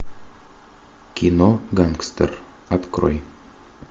кино гангстер открой